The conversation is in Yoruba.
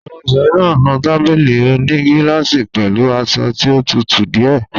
Ọmọbìnrin náà nu tábìlì òní gílásì pẹ̀lú aṣọ tí ó tutù díẹ̀.